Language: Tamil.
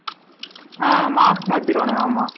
ஆஹ் mask மாதிருவானுங்க ஆமா